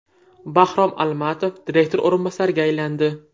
Bahrom Almatov direktor o‘rinbosariga aylandi.